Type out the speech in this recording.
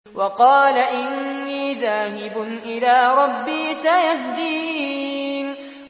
وَقَالَ إِنِّي ذَاهِبٌ إِلَىٰ رَبِّي سَيَهْدِينِ